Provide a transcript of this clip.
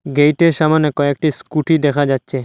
Gate সামোনে কয়েকটি scooty দেখা যাচ্ছে।